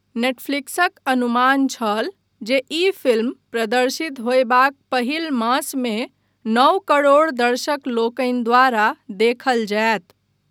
नेटफ्लिक्सक अनुमान छल जे ई फिल्म प्रदर्शित होयबाक पहिल मासमे नओ करोड़ दर्शकलोकनि द्वारा देखल जायत।